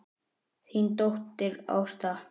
Þín dóttir Ásta.